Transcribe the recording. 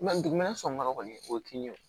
dugumɛnɛ sɔngɔ kɔni o ti ɲɛ o